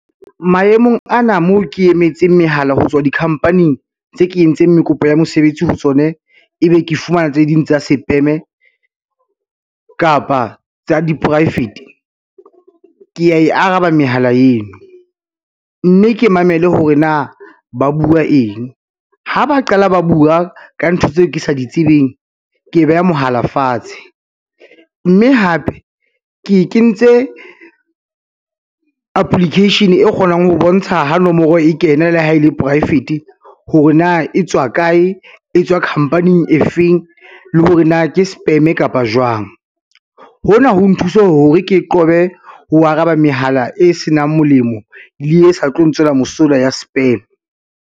Maemong ana moo ke emetse mehala ho tswa di-company-ing tse ke entseng kopo ya mosebetsi ho tsone, ebe ke fumana tse ding tsa sepeme kapa tsa di-private. Ke a e araba mehala eno, mme ke mamele hore na ba bua eng ha ba qala ba bua ka ntho tseo ke sa di tsebeng, ke beha mohala fatshe, mme hape ke kentse application e kgonang ho bontsha ha nomoro e kena le ha e le poraefete hore na e tswa kae, e tswa khampaning efeng le hore na ke spam kapa jwang. Hona ho nthusa hore ke qobe ho araba mehala e senang molemo le e sa tlo ntswela mosola ya spam.